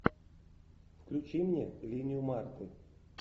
включи мне линию марты